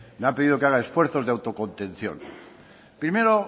me ha pedido que haga esfuerzos de autocontención primero